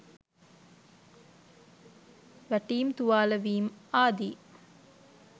වැටීම් තුවාලවීම් ආදී